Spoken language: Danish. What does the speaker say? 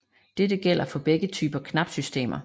Dette gælder for begge typer knapsystemer